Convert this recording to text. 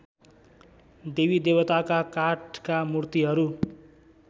देवीदेवताका काठका मूर्तिहरू